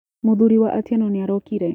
Mũthuri wa Atieno nĩ arokire.